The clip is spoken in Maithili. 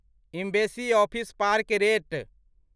embassy office parks rate